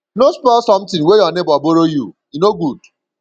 no spoil sometin wey your nebor borrow you e no good